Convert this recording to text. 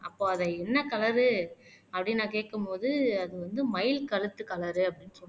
அப்போ அதை என்ன கலரு அப்படின்னு நான் கேட்கும்போது அது வந்து மயில் கழுத்து கலரு அப்படின்னு சொன்னாங்க